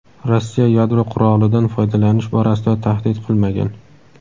Rossiya yadro qurolidan foydalanish borasida tahdid qilmagan.